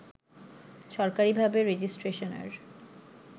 সরকারীভাবে রেজিষ্ট্রেশনের